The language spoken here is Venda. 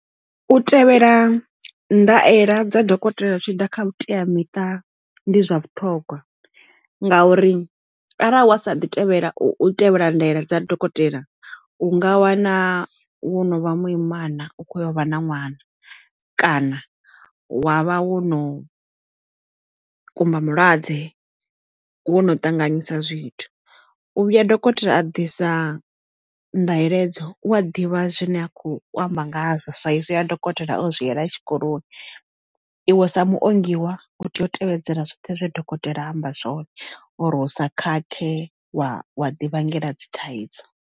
U tevhela ndaela dza dokotela zwi tshi ḓa kha vhuteamiṱa ndi zwa vhuṱhogwa nga uri arali wa sa ḓi tevhela u tevhela ndaela dza dokotela u nga wana wo no vha muimana u kho vha na ṅwana kana wa vha wo no kumba malwadze wo no ṱanganyisa zwithu u vhuya dokotela a ḓisa nḓaela hedzo u a ḓivha zwine a khou amba nga ha saizi ya dokotela o zwi yela tshikoloni iwe sa muongi wa u tea u tevhedzela zwoṱhe zwe dokotela amba zwone uri u sa khakhe waya wa di vhangela dzi thaidzo.